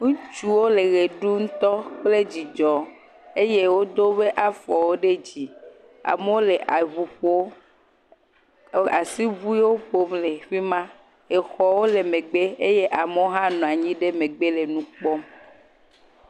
Ŋutsuwo le ɣe ɖum tɔ kple dzidzɔ eye wodo woƒe afɔwo ɖe dzi. Ame le ʋu ƒom. Wole asiʋuie ƒom le fima. Exɔ le megbe eye ame aɖewo nɔ anyi ɖe megbe le nu kpɔm.